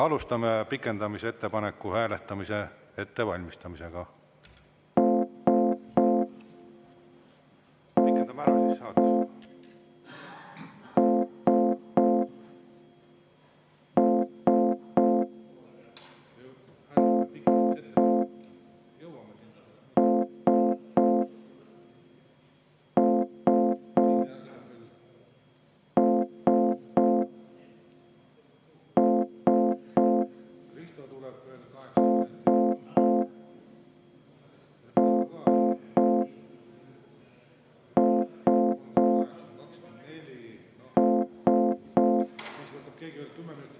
Alustame pikendamise ettepaneku hääletamise ettevalmistamist.